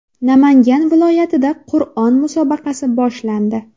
Namangan viloyatida Qur’on musobaqasi boshlandi.